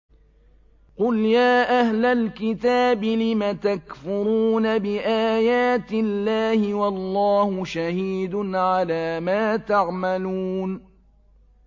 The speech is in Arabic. قُلْ يَا أَهْلَ الْكِتَابِ لِمَ تَكْفُرُونَ بِآيَاتِ اللَّهِ وَاللَّهُ شَهِيدٌ عَلَىٰ مَا تَعْمَلُونَ